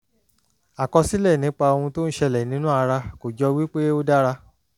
àkọsílẹ̀ nípa ohun tí ó ń ṣẹlẹ̀ nínú ara kò jọ wípé ó dára